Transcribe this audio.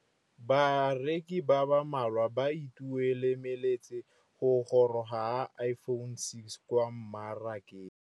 Bareki ba ba malwa ba ituemeletse go gôrôga ga Iphone6 kwa mmarakeng.